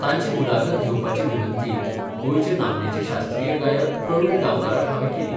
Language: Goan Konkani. तांची मुलाखत घेवपाची विनंती गोंयचे नामनेचे शास्त्रीय गायक प्रवीण गांवकाराक हावें केली.